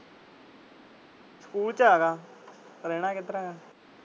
School ਚ ਹੈਗਾ। ਰਹਿਣਾ ਕਿੱਧਰ ਆ।